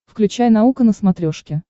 включай наука на смотрешке